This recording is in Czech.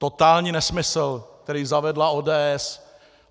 Totální nesmysl, který zavedla ODS.